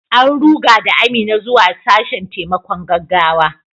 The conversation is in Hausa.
An ruga da Amina zuwa sashen taimakon gaggawa.